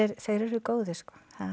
þeir eru góðir sko